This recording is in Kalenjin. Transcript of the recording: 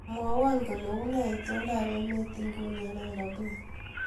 Mwowo kole unee itondoab emet nguni eng Nairobi